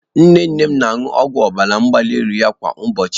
Nne nne m na-aṅụ ọgwụ ọbara mgbali elu kwa ụbọchị